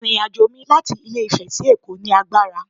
My journey from Ilé ifè to Lagos was tiring